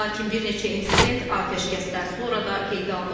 Lakin bir neçə insident atəşkəsdən sonra da qeydə alınıb.